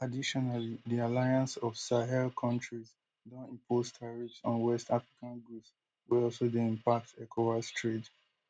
additionally di alliance of sahel countries don impose tariffs on west african goods wey also dey impact ecowas trade